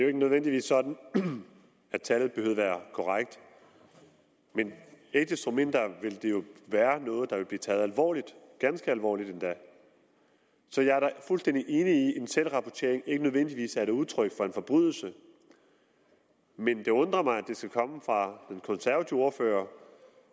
ikke nødvendigvis sådan at tallet behøver at være korrekt men ikke desto mindre vil det jo være noget der vil blive taget alvorligt ganske alvorligt endda så jeg er da fuldstændig enig i at en selvrapportering ikke nødvendigvis er et udtryk for en forbrydelse men det undrer mig at det skal komme fra den konservative ordfører